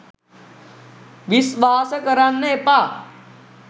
විස්වාස කරන්න එපා.